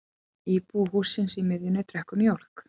Íbúi hússins í miðjunni drekkur mjólk.